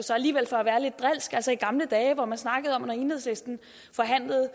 gamle dage hvor man snakkede om at når enhedslisten forhandlede